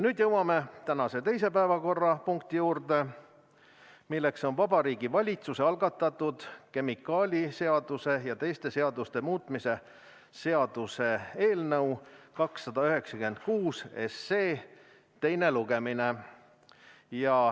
Nüüd jõuame tänase teise päevakorrapunkti juurde, milleks on Vabariigi Valitsuse algatatud kemikaaliseaduse ja teiste seaduste muutmise seaduse eelnõu 296 teine lugemine.